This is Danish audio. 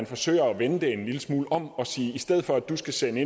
forsøger at vende det en lille smule om og siger i stedet for at du skal sende